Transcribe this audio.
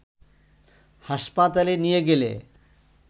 হাসপাতালে নিয়ে গেলে